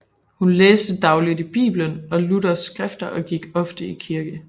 Hun læste dagligt i Bibelen og Luthers skrifter og gik ofte i kirke